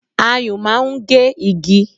Ayùn máa ń gé igi